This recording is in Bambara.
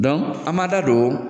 Dɔnku an ma da don